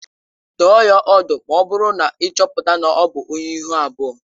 Dụọ ya ọdụ ma ọ bụrụ na ị chọpụta na ọ bụ onye ihu abụọ